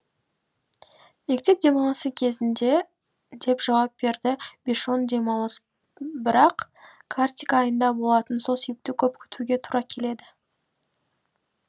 мектеп демалысы кезінде деп жауап берді бишон демалыс бірақ картик айында болатын сол себепті көп күтуге тура келді